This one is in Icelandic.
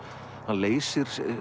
hann leysir